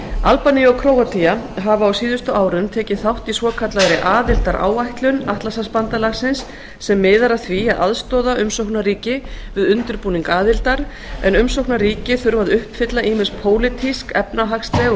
albanía og króatía hafa á síðustu árum tekið þátt í svokallaðri aðildaráætlun atlantshafsbandalagsins sem miðar að því að aðstoða umsóknarríki við undirbúning aðildar en umsóknarríki þurfa að uppfylla ýmis pólitísk efnahagsleg og